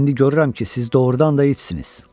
İndi görürəm ki, siz doğrudan da itsiniz.